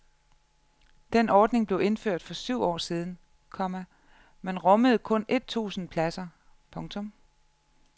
Den ordning blev indført for syv år siden, komma men rummede kun et tusind pladser. punktum